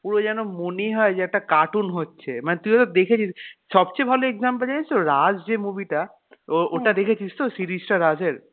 পুরো যেন মনে হয় যে একটা কার্টুন হচ্ছে মানে তুই তো দেখেছিস সব চেয়ে ভালো example জানিস্ তো রাজ যে movie টা ও ওটা দেখেছিস তো series টা রাজ এর